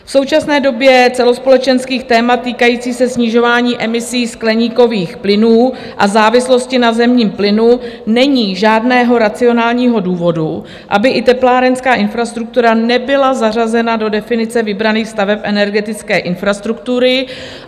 V současné době celospolečenských témat týkající se snižování emisí skleníkových plynů a závislosti na zemním plynu není žádného racionálního důvodu, aby i teplárenská infrastruktura nebyla zařazena do definice vybraných staveb energetické infrastruktury.